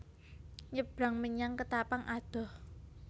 Nyebrang menyang Ketapang adoh